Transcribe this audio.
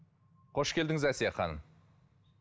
қош келдіңіз әсия ханым